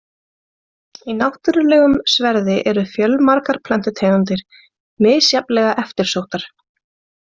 Í náttúrulegum sverði eru fjölmargar plöntutegundir, misjafnlega eftirsóttar.